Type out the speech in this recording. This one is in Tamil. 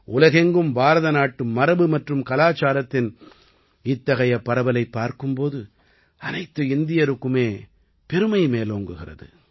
உலகெங்கும் பாரதநாட்டு மரபு மற்றும் கலாச்சாரத்தின் இத்தகைய பரவலைப் பார்க்கும் போது அனைத்து இந்தியருக்குமே பெருமை மேலோங்குகிறது